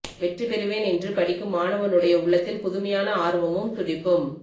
வெற்றி பெறுவேன் என்று படிக்கும் மாணவனுடைய உள்ளத்தில் புதுமையான ஆர்வமும் துடிப்பும்